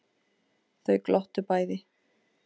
Þau glottu bæði.